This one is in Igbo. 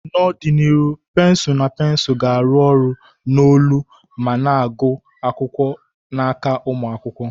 N'ọdịnihu, pensụl na pensụl ga-arụ ọrụ n'olu ma na-agụ akwụkwọ n'aka ụmụ akwụkwọ.